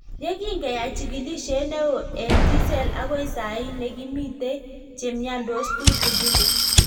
Ye kingeyai chigilisyet neo eng T-cell agoi sahi ne kimitei che miandos tutigin.